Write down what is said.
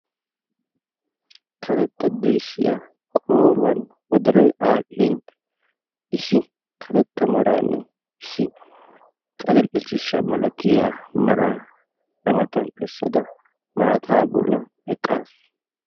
karetta deeshiya qooriyan wodoroy aadhin issi karetta maraanne issi adil'e ciishsha malatita maraa kaaletada eqaasu.